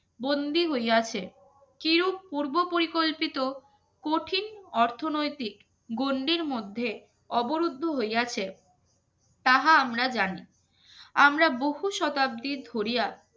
বন্দী হইয়াছে চিরপূর্বক পরিকল্পিত কঠিন অর্থনৈতিক গণ্ডির মধ্যে অবরুদ্ধ হইয়াছে তাহা আমরা জানি আমরা বহু শতাব্দীর ধরিয়া